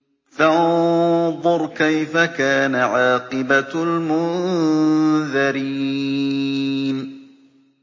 فَانظُرْ كَيْفَ كَانَ عَاقِبَةُ الْمُنذَرِينَ